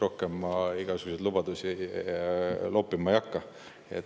Rohkem ma igasuguseid lubadusi loopima ei hakka.